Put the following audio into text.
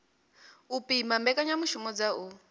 u pima mbekanyamishumo dza u